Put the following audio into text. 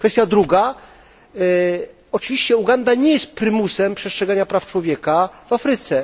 Kwestia druga oczywiście Uganda nie jest prymusem przestrzegania praw człowieka w Afryce.